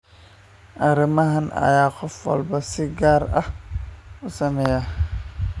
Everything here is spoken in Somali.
Arrimahan ayaa qof walba si gaar ah u saameeya.